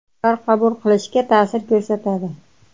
U qaror qabul qilishga ta’sir ko‘rsatadi.